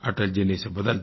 अटल जी ने इसे बदल दिया